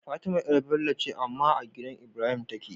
Fatima yar Bello ce amma a gidan Ibrahim take